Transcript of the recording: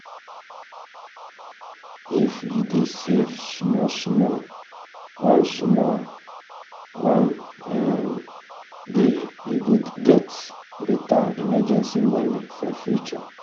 if you dey save small small one small one um day you go get um better emergency money for future.